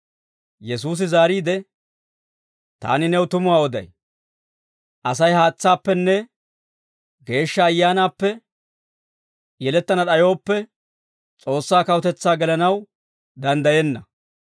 Yesuusi zaariide, «Taani new tumuwaa oday; Asay haatsaappenne Geeshsha Ayyaanaappe yelettana d'ayooppe, S'oossaa kawutetsaa gelanaw danddayenna.